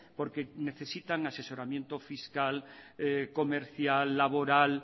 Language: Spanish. porque necesitan asesoramiento fiscal comercial laboral